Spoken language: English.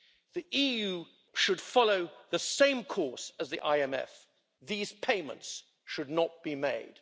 The EU should follow the same course as the IMF these payments should not be made.